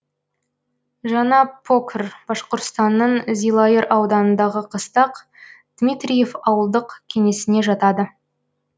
жаңа покр башқұртстанның зилайыр ауданындағы қыстақ дмитриев ауылдық кеңесіне жатады